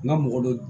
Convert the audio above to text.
N ka mɔgɔ dɔ